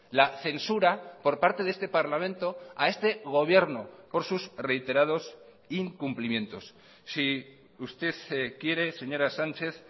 la censura por parte de este parlamento a este gobierno por sus reiterados incumplimientos si usted quiere señora sánchez